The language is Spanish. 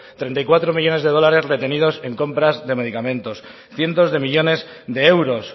treinta y cuatro millónes de dólares retenidos en compras de medicamentos cientos de millónes de euros